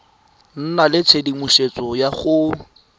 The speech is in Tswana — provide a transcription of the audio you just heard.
nna le tshedimosetso ya go